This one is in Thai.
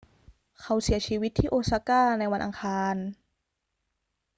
เขาเสียชีวิตที่โอซาก้าในวันอังคาร